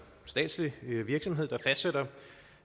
statslig virksomhed der fastsætter